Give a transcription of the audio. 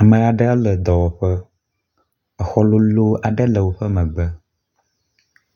ame aɖe le dɔwɔƒe, exɔ loló aɖe le wóƒe megbe